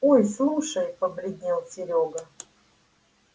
ой слушай побледнел серёга